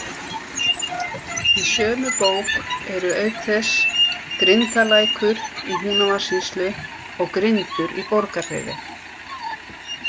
Í sömu bók eru auk þess Grindalækur í Húnavatnssýslu og Grindur í Borgarfirði.